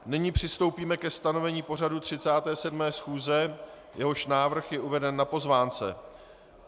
Nyní přistoupíme ke stanovení pořadu 37. schůze, jehož návrh je uveden na pozvánce.